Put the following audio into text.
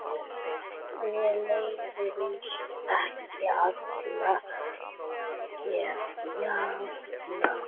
Mér leiðist ekki alla jafna.